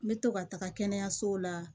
Me to ka taga kɛnɛyaso la